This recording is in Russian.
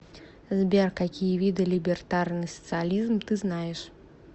сбер какие виды либертарный социализм ты знаешь